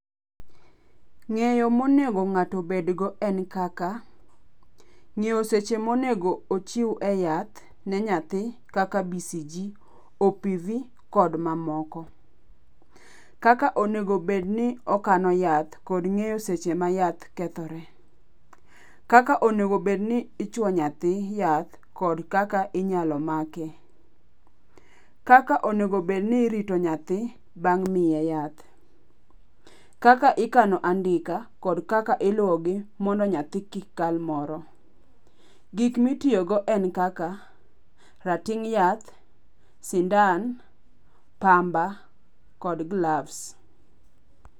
Ng'eyo monego ng'ato obedgo en kaka ng'eyo seche mo nego ochiw e yath ne nyathji kaka BCG,OPV kod mamoko. Kaka onego bed ni okano yath kod ng'eyo seche ma yath kethoree. Kaka onego bed ni ichuo nyathi yath kod kaka inyalo make. Kaka onego bed ni irito nyathi bang' miye yath. Kaka ikano andika, kod kaka iluwogi mondo nyathi kik kal moro. Gik mitiyogo en kaka rating' yath, sindan, pamba kod gloves.